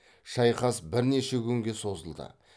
шайқас бірнеше күнге созылды